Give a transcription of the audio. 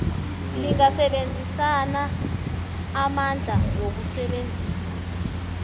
lingasebenzisa amandlalo wokusebenza